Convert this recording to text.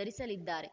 ಧರಿಸಲಿದ್ದಾರೆ